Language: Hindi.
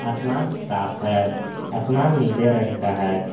आसमान साफ है आसमान नीले रंग का है।